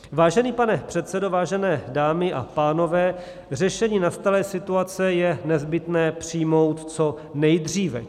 Vážený pane předsedo, vážené dámy a pánové, řešení nastalé situace je nezbytné přijmout co nejdříve.